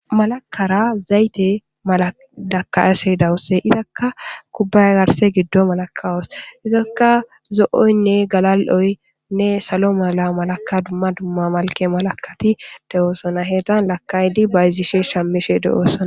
Malakara zayte maalakayashshe dawusse izakka kubbay garse giddo malakawos izakka zo'oynne galal'oynne salo mala malaka dumma dumma malke malakati de'oosona heggan lakaydi bayzishe shamishe de'oosona